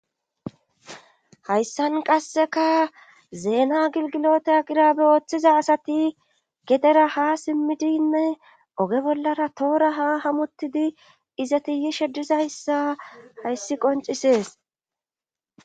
hayssan qasseka zeena gilgilota aqirabe ooththiza asati gedera ha simmidinne oge bollara toora ha hamutidi izati yishe dizayssa hayssi qoncisees